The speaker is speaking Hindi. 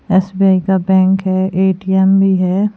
एस_बी_आई का बैंक है ए_टी_एम भी है।